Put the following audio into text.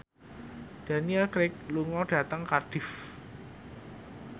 Daniel Craig lunga dhateng Cardiff